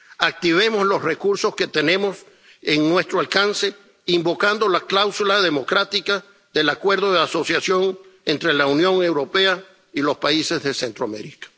Activemos los recursos que tenemos a nuestro alcance invocando la cláusula democrática del Acuerdo de Asociación entre la Unión Europea y los países de Centroamérica.